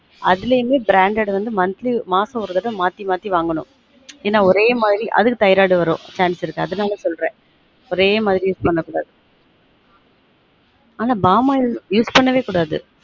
அதுல இன்னும் branded வந்து monthly மாசம் ஒரு தடவ மாத்தி மாத்தி வாங்கனும் என்ன ஒரே மாதிரி அதுக்கு thyroid வரும் chance இருக்கு அதுனால சொல்றன் ஒரே மாதிரி use பண்ண கூடாது ஆனா பாமாயில் use பண்ணவே கூடாது